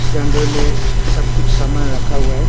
के अंदर में सब कुछ सामान रखा हुआ है।